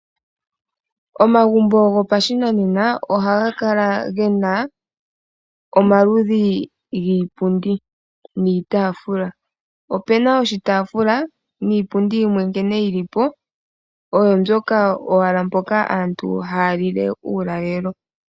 Omagumbo gopashinanena ohaga kala ge na omaludhi giipundi niitaafula. Opu na oshitaafula niipundi yimwe nkene yi li po oyo mbyoka owala mpoka aantu haya lile uulalelo.